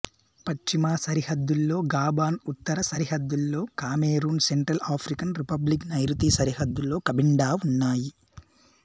పశ్చిమ సరిహద్దులో గాబోన్ ఉత్తర సరిహద్దులో కామెరూన్ సెంట్రల్ ఆఫ్రికన్ రిపబ్లిక్ నైరుతీ సరిహద్దులో కబిండా ఉన్నాయి